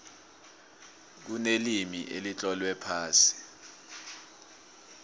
kunelimi elitlolwe phasi